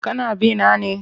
Kana bi na ne?